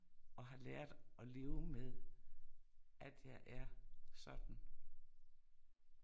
Og har lært og leve med, at jeg er sådan